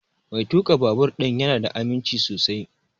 Mai tuƙa babur ɗin ya na da aminci sosai